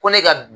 Ko ne ka